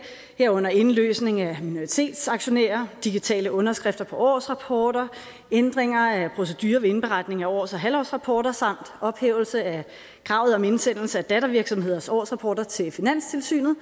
herunder indløsning af minoritetsaktionærer digitale underskrifter på årsrapporter ændringer af procedure ved indberetning af års og halvårsrapporter samt ophævelse af kravet om indsendelse af dattervirksomheders årsrapporter til finanstilsynet